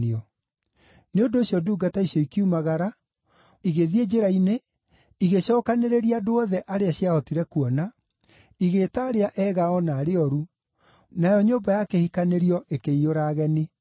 Nĩ ũndũ ũcio ndungata icio ikiumagara, igĩthiĩ njĩra-inĩ, igĩcookanĩrĩria andũ othe arĩa ciahotire kuona, igĩĩta arĩa ega o na arĩa ooru, nayo nyũmba ya kĩhikanĩrio ĩkĩiyũra ageni.